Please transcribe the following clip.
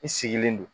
I sigilen don